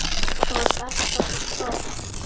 Þú varst alltaf svo flott.